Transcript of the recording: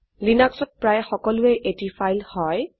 লিনাক্সত প্রায়ে সকলোয়ে এটি ফাইল হয়